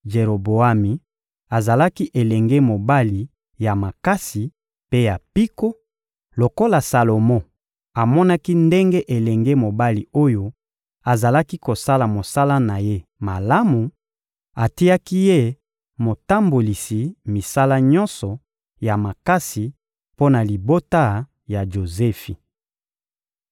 Jeroboami azalaki elenge mobali ya makasi mpe ya mpiko; lokola Salomo amonaki ndenge elenge mobali oyo azalaki kosala mosala na ye malamu, atiaki ye motambolisi misala nyonso ya makasi mpo na libota ya Jozefi.